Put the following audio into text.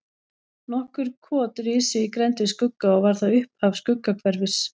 Nokkur kot risu í grennd við Skugga og var það upphaf Skuggahverfis.